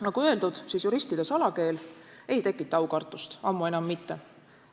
Nagu öeldud, juristide salakeel ei tekita aukartust – ammu enam mitte!